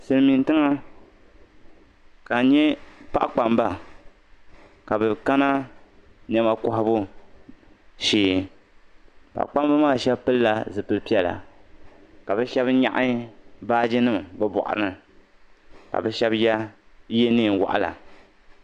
Silimiin'tiŋa ka a nyɛ paɣa kpamba ka be kana nɛma kohibu shee paɣa kpamba maa shɛba pilila zipil'piɛla ka be shɛba nyɛ baajinima be buɣuari ni ka be shɛba ye neein'waɣila.